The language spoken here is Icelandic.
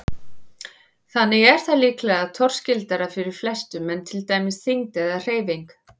Þannig er það líklega torskildara fyrir flestum en til dæmis þyngd eða hreyfing.